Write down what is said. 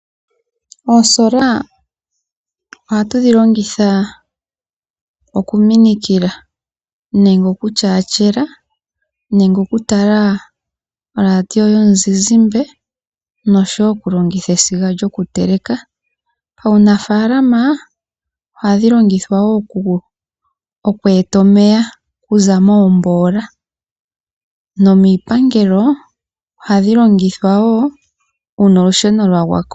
Oosola ohatu dhilongitha okuminikila, nenge okutyaatyela, nenge okutala oradio yomuzizimba nosho wo okulongitha esiga lyokutekela. Paunafaalama ohadhi longithwa wo okweeta omeya okuza moomboola nomiipangelo ohadhi longithwa wo uuna olusheno lwagwako.